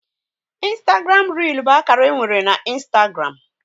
Ịnstagram réel bụ akara e nwere na Ịnstagram